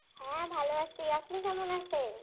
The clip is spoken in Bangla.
হ্যাঁ, ভালো আছি। আপনি কেমন আছেন?